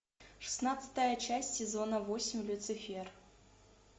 шестнадцатая часть сезона восемь люцифер